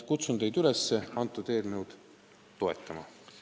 Kutsun teid üles seda eelnõu toetama.